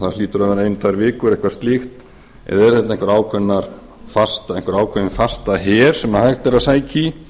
það hlýtur þá vera eina tvær vikur eitthvað slíkt eða eru þetta einhver ákveðinn fastaher sem hægt er að sækja í